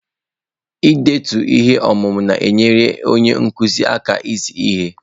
Ihe ndetu ihe ọmụmụ na-enyere onye nkuzi aka izi ihe.